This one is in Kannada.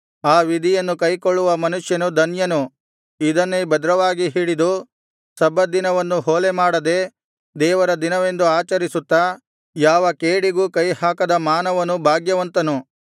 ಈ ವಿಧಿಯನ್ನು ಕೈಕೊಳ್ಳುವ ಮನುಷ್ಯನು ಧನ್ಯನು ಇದನ್ನೇ ಭದ್ರವಾಗಿ ಹಿಡಿದು ಸಬ್ಬತ್ ದಿನವನ್ನು ಹೊಲೆಮಾಡದೆ ದೇವರ ದಿನವೆಂದು ಆಚರಿಸುತ್ತಾ ಯಾವ ಕೇಡಿಗೂ ಕೈಹಾಕದ ಮಾನವನು ಭಾಗ್ಯವಂತನು